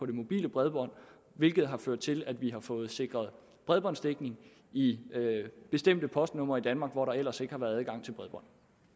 det mobile bredbånd hvilket har ført til at vi har fået sikret bredbåndsdækning i bestemte postnumre i danmark hvor der ellers ikke har været adgang til bredbånd